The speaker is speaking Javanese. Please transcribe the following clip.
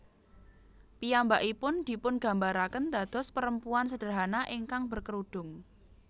Piyambakipun dipungambarakén dados perempuan sederhana ingkang berkerudung